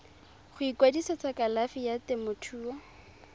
go ikwadisetsa kalafi ya temothuo